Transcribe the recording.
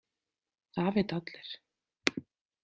Það vita allir.